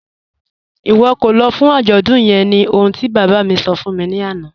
Iwọ kò lọ́ fún ajọ́dún yẹ̀n ní ọ̀hun ti baba mi sọ̀ fún mi lana